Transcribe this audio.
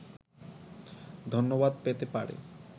ধন্যবাদ পেতে পারে